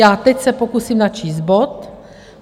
Já se teď pokusím načíst bod.